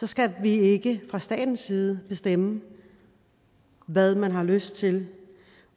skal vi ikke fra statens side bestemme hvad man har lyst til